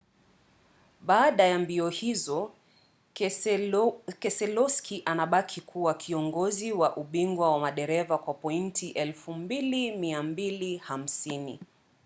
baada ya mbio hizo keselowski anabaki kuwa kiongozi wa ubingwa wa madereva kwa pointi 2,250